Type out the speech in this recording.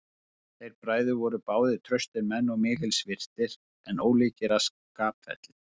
Þeir bræður voru báðir traustir menn og mikils virtir, en ólíkir að skapferli.